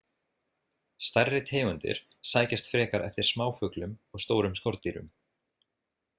Stærri tegundir sækjast frekar eftir smáfuglum og stórum skordýrum.